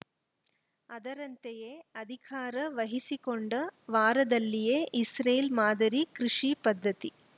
ಅದರಂತೆಯೇ ಅಧಿಕಾರ ವಹಿಸಿಕೊಂಡ ವಾರದಲ್ಲಿಯೇ ಇಸ್ರೇಲ್‌ ಮಾದರಿ ಕೃಷಿ ಪದ್ಧತಿ